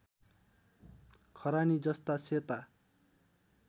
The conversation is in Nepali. खरानी जस्ता सेता